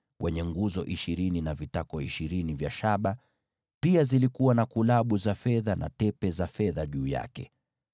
pamoja na nguzo ishirini na vitako vya shaba ishirini, na kulabu na tepe za fedha juu ya hizo nguzo.